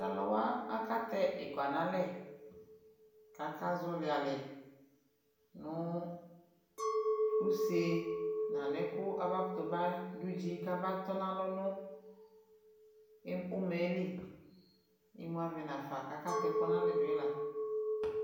talʋwa aka tɛ ikpa nʋ alɛ kʋ aka zɔli alɛ nʋ ʋsɛ nʋ anɛ kʋ aba kʋtʋ ba dʋdzi kʋ aba tɔnʋ alɔ nʋ ʋmaɛli, imʋ aɣɛ nʋ aƒa kʋ aka tɛ ɛkʋ dʋnʋ alɛ dʋila.